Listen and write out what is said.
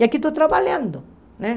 E aqui estou trabalhando, né?